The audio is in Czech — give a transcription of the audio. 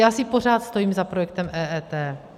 Já si pořád stojím za projektem EET.